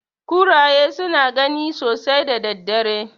Kuraye suna gani sosai da daddare.